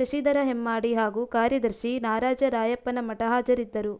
ಶಶಿಧರ ಹೆಮ್ಮಾಡಿ ಹಾಗೂ ಕಾರ್ಯದರ್ಶಿ ನಾರಾಜ ರಾಯಪ್ಪನಮಠ ಹಾಜರಿದ್ದರು